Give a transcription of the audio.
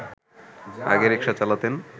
আগে রিকশা চালাতেন